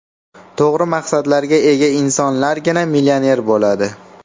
To‘g‘ri maqsadlarga ega insonlargina millioner bo‘ladi.